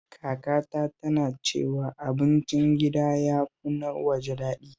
Kakata tana cewa abincin gida ya fi na waje daɗi